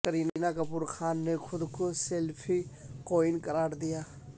کرینہ کپور خان نے خود کو سیلفی کوئین قرار دیا